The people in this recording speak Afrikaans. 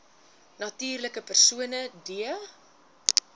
natuurlike persone d